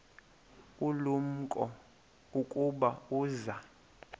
ulumko ukuba uza